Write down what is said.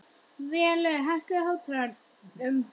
Vélaug, hækkaðu í hátalaranum.